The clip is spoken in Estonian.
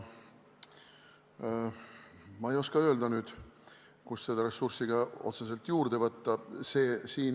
Ma ei oska ka öelda, kust seda ressurssi otseselt juurde saaks võtta.